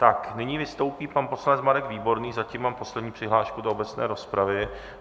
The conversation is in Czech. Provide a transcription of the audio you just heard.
Tak, nyní vystoupí pan poslanec Marek Výborný, zatím mám poslední přihlášku do obecné rozpravy.